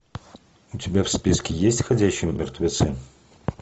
у тебя в списке есть ходячие мертвецы